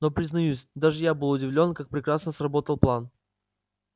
но признаюсь даже я был удивлён как прекрасно сработал план